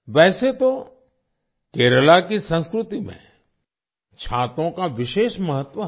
वैसे तो केरला की संस्कृति में छातों का विशेष महत्व है